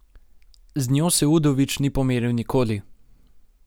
Z njo se Udovič ni pomeril nikoli ...